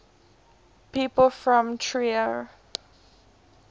people from trier